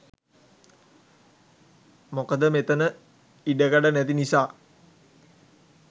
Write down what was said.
මොකද මෙතන ඉඩකඩ නැති නිසා